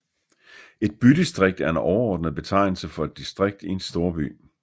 Et bydistrikt er en overordnet betegnelse for et distrikt i en storby